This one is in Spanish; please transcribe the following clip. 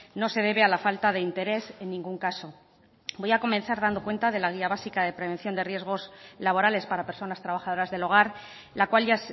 no se debe a la falta de interés en ningún caso voy a comenzar dando cuenta de la guía básica de prevención de riesgos laborales para personas trabajadoras del hogar la cual ya